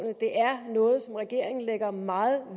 det er noget som regeringen lægger meget